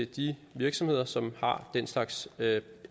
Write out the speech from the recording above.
de virksomheder som har den slags